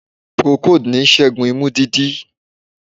Procold n sẹ́gun imú dídí